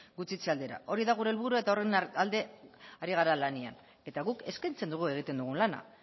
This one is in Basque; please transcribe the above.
gutxitze aldera hori da gure helburua eta horren alde ari gara lanean eta guk eskaintzen dugu egiten dugun lana